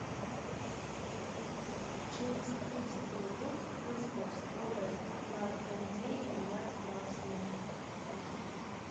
через тридцать минут выставь скорость на кондее на максимум